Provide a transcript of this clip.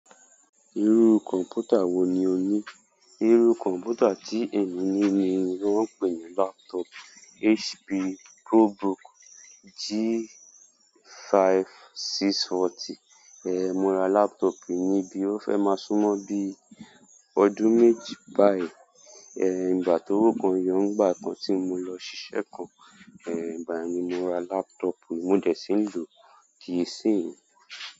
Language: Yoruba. Irú kọ̀mpútà wo ní o ní? Irú kọ̀mpútà tí èmi ní ní wọ́n ń pè ní laptop HP ProBook G5640. Ehn, mo rà laptop níbí ó fẹ́ máa súnmọ́ bí ọdún méjì báyìí. Ehn, ìgbà ti owo kan yọ, nìgbà kan tí mo lọ ṣié kan, ehn, ìgbà yen ni mo ra laptop yi, mo dẹ̀ sí ń lò di isíyín.